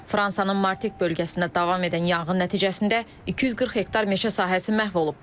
Fransanın Martinik bölgəsində davam edən yanğın nəticəsində 240 hektar meşə sahəsi məhv olub.